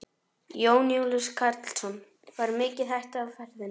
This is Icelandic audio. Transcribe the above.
Jón Júlíus Karlsson: Var mikið hætta á ferðum?